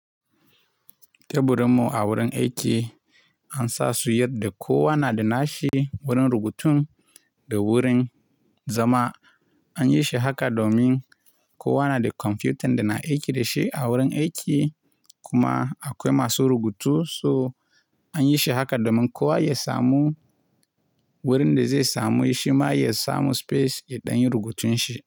Teburinmu a wurin aiki an sa su yadda kowa na da nashi wurin rubutun da wurin, zama an yi shi haka domin kowa na da kwamfutan da na aiki da shi a wurin aiki kuma akwai masu rubutu. So an yi shi haka domin kowa ya samu wurin da zai samu shi ma ya samu space ya ɗanyi rubutun shi.